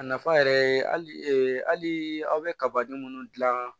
A nafa yɛrɛ ye hali aw bɛ kabaden minnu dilan